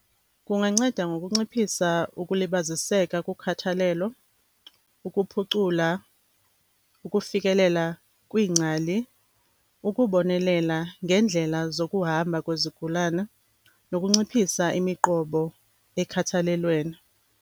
Kunganceda ngokunciphisa ukulibaziseka kokhathalelo, ukuphucula ukufikelela kwiingcali, ukubonelela ngeendlela zokuhamba kwezigulana nokunciphisa imiqobo ekhathalelweni.